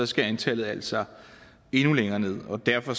skal antallet altså endnu længere ned og derfor